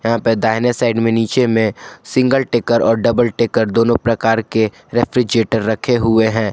यहां पे दाहिने साइड में नीचे में सिंगल टेकर और डबल टेकर दोनों प्रकार के रेफ्रिजरेटर रखे हुए हैं।